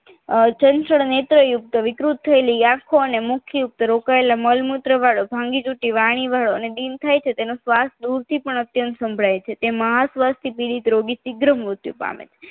ચંચળ નેત્રયુક્ત વિકૃત થયેલી આંખો મુખ યુક્ત રોકાયેલા મળ મૂત્ર યુક્ત ભાંગી તૂટી વાણી વાળો અને બીન થાય છે તેનો શ્વાસ દૂરથી પણ અત્યંત સંભળાય છે તે મહાસવાસથી પીડિત રોગી સિગરહમ મૃત્યુ પામે છે